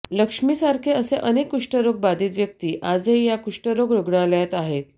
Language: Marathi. लक्ष्मीसारखे असे अनेक कृष्ठरोग बाधित व्यक्ती आजही या कुष्ठरोग रुग्णालयात राहत आहेत